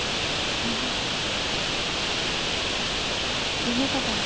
என்னக்கா பண்றீங்~